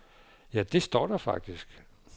Ja, det står der faktisk.